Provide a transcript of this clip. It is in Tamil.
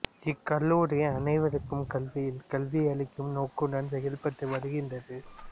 இக்கல்லூரி அனைவருக்கும் கல்வியியல் கல்வி அளிக்கும் நோக்குடன் செயல்பட்டு வருகின்றது